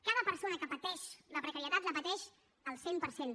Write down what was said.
cada persona que pateix la precarietat la pateix al cent per cent